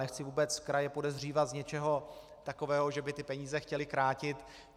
Nechci vůbec kraje podezírat z něčeho takového, že by ty peníze chtěly krátit.